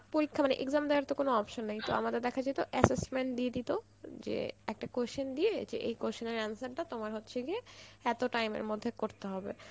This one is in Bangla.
পরীক্ষা মানে exam দেওয়ার তো কোনো option নেই তো মামাদের দেখা যেত assessment দিয়ে দিত যে একটা question দিয়ে যে এই question এর answer টা, তোমার হচ্ছে গিয়ে, এত time এর মধ্যে করতে হবে